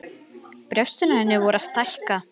Brjóstin á henni voru að stækka.